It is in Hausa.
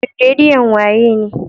Shin redion wa ye ne?